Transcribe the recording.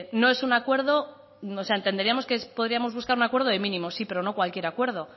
entenderíamos que podríamos buscar un acuerdo de mínimos sí pero no cualquier acuerdo